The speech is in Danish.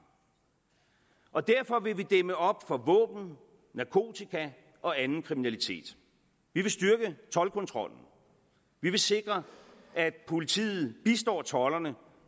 og derfor vil vi dæmme op for våben narkotika og anden kriminalitet vi vil styrke toldkontrollen og vi vil sikre at politiet bistår tolderne